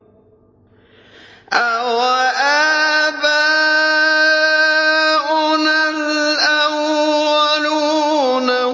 أَوَآبَاؤُنَا الْأَوَّلُونَ